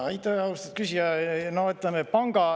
Aitäh, austatud küsija!